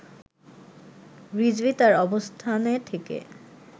রিজভী তার অবস্থানে থেকে